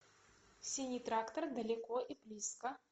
синий трактор далеко и близко